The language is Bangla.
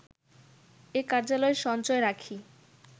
এ কার্যালয় সঞ্চয় রাখি